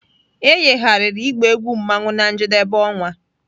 E yigharịrị ịgba egwu mmanwu na njedebe ọnwa